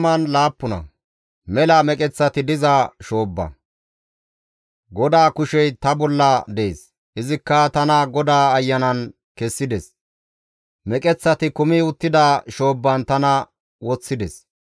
GODAA kushey ta bolla dees; izikka tana GODAA Ayanan kessides; meqeththati kumi uttida shoobban tana woththides.